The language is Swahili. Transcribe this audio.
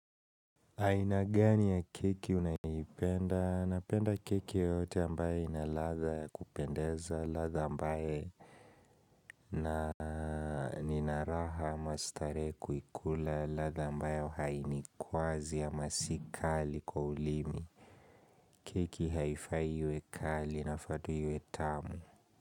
Aina gani ya keki unaipenda, napenda keki yeyote ambaye ina latha kupendeza, latha ambaye na nina raha ama starehe kuikula, latha ambayo hainikwazi ama si kali kwa ulimi keki haifai iwe kali inafaa tu iwe tamu.